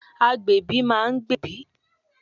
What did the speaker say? Agbẹ̀bí ma ń gbẹ̀bí.